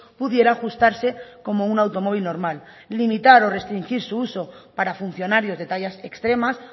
pudiera ajustarse como un automóvil normal limitar o restringir su uso para funcionarios de tallas extremas